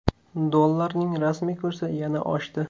Dollarning rasmiy kursi yana oshdi.